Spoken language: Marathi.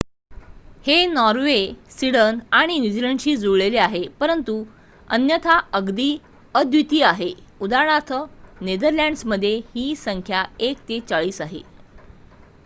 हे नॉर्वे स्वीडन आणि न्यूझीलंडशी जुळलेले आहे परंतु अन्यथा अगदी अद्वितीय आहे उदा. नेदरलँड्समध्ये ही संख्या एक ते चाळीस आहे